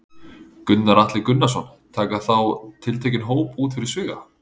Gunnar Atli Gunnarsson: Taka þá tiltekinn hóp út fyrir sviga?